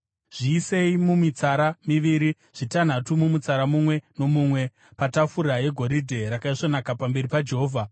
Zviisei mumitsara miviri, zvitanhatu mumutsara mumwe nomumwe, patafura yegoridhe rakaisvonaka pamberi paJehovha.